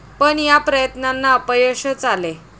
पण या प्रयत्नांना अपयशच आले.